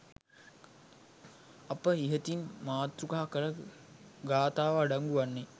අප ඉහතින් මාතෘකා කළ ගාථාව අඩංගු වන්නේ